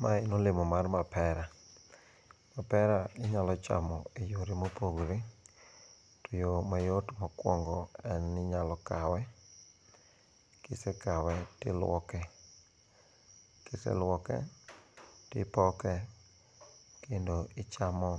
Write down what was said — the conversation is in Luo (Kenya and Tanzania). Mae en olemo mar mapera. Mapera inyalo chamo e yo mopogore. To yo mayot mokuongo en ni inyalo kawe. Kisekawe tiluoke. Kiseluoke tipoke kendo ichamo